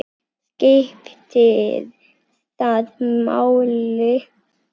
skiptir það máli?